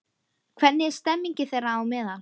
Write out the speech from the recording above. Hvernig er stemmingin þeirra á meðal?